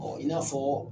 Ɔ i n'a fɔ